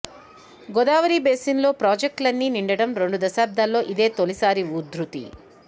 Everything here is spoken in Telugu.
గోదావరి బేసిన్లో ప్రాజెక్టులన్నీ నిండటం రెండు దశాబ్దాల్లో ఇదే తొలిసారి ఉధృతి